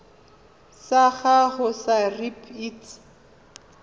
sa gago sa irp it